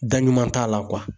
Da ɲuman t'a la kuwa.